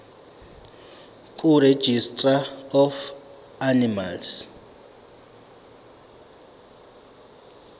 kuregistrar of animals